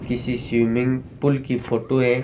किसी swimming pool की photo है।